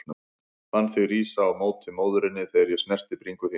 Fann þig rísa á móti móðurinni þegar ég snerti bringu þína.